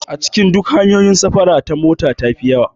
A cikin duk hanyoyin safara ta mota tafi yawa